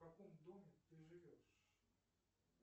в каком доме ты живешь